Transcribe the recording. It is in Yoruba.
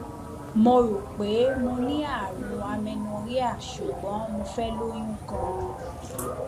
mo rò pé mo ní àrùn amernorrhea ṣùgbọn mo fẹ lóyún ganan